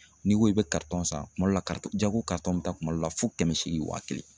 N'i ko i bɛ kartɔn san kuma dɔ la Jago kartɔn bɛ taa kuma dɔ la fo kɛmɛ seegin waa kelen.